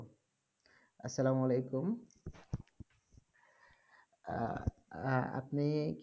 আসসালামালাইকুম আপনি